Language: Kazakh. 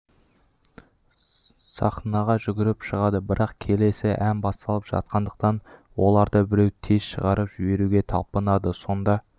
сахнаға жүгіріп шығады бірақ келесі ән басталып жатқандықтан оларды біреу тез шығарып жіберуге талпынады сонда